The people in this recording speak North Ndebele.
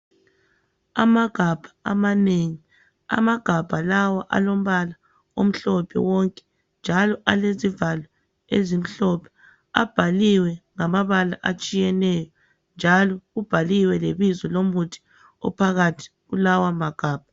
Amagabha amanengi, amagabha lawo alombala omhlophe wonke njalo alezivalo ezimhlophe. Abhaliwe ngamabala atshiyeneyo njalo kubhaliwe lebizo lomuthi ophakathi kulawa magabha.